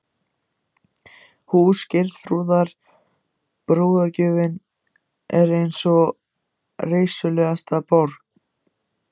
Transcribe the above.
Hús Geirþrúðar, brúðargjöfin, er ein reisulegasta bygg